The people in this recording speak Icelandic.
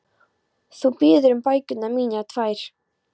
Þú biður um bækurnar mínar tvær.